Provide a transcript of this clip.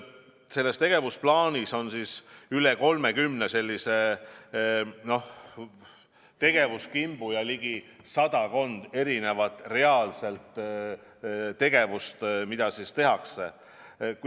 Selles tegevusplaanis on üle 30 tegevuskimbu ja ligi sadakond erinevat reaalset tegevust, mida tehakse.